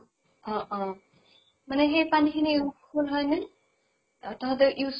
অ অ । মানে সেই পানী খিনি full হয় নে ? তহঁতৰ use